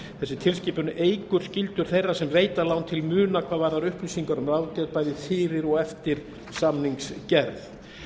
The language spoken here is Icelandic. þessi tilskipun eykur skyldur þeirra sem veita lán til muna hvað varðar upplýsingar um ráðgjöf bæði fyrir og eftir samningsgerð